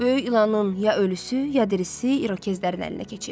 Böyük İlanın ya ölüsü, ya dirisi İrokezlərin əlinə keçib.